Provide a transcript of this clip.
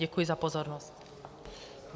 Děkuji za pozornost.